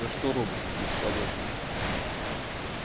за что роботы здесь работают